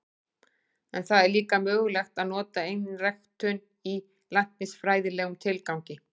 En það er líka mögulegt að nota einræktun í læknisfræðilegum tilgangi.